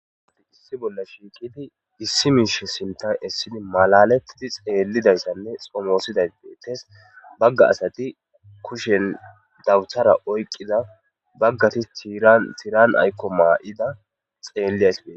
Issi bolla shiqidi issi mishe sinthan esidi malaletidi xelizaysane xomosizaysi betes baga asati kushen dabutera oykida bagati tiran ayko mayida xeliyas betes